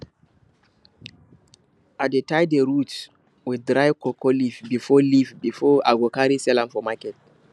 i dey tie the roots with dry cocoa leaf before leaf before i carry go sell for market